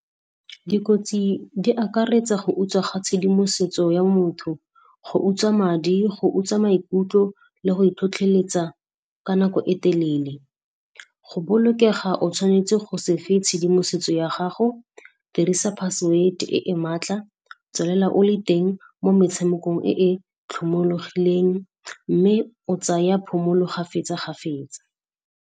Dikotsi di akaretsa go utswa ga tshedimosetso ya motho, go utswa madi, go utswa maikutlo le go e tlhotlheletsa ka nako e telele. Go bolokega o tshwanetse go se fe tshedimosetso ya gago, dirisa password e e matla, tswalela o le teng mo metshamekong e e tlhomologileng mme o tsaya phomolo kgafetsa kgafetsa.